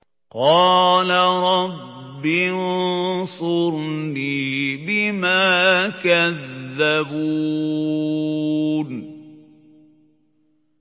قَالَ رَبِّ انصُرْنِي بِمَا كَذَّبُونِ